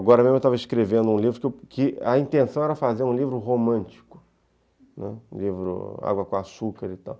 Agora mesmo eu estava escrevendo um livro que a intenção era fazer um livro romântico, né, um livro água com açúcar e tal.